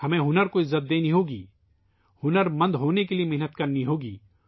ہمیں ہنر کا احترام کرنا ہوگا ، ہمیں ہنر مند بننے کے لیے سخت محنت کرنی ہوگی